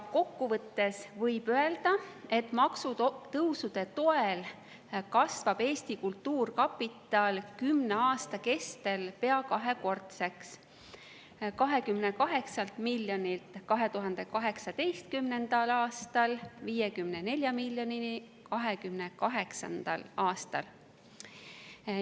Kokku võttes võib öelda, et maksutõusude toel kasvab Eesti Kultuurkapitali kümne aastaga pea kahekordseks: 28 miljonilt 2018. aastal 54 miljonini 2028. aastal.